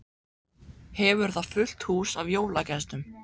Hefur þar fullt hús af jólagestum.